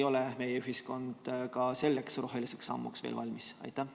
Või meie ühiskond ei ole selleks roheliseks sammuks veel valmis?